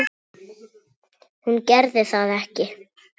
Hún gerði það ekki.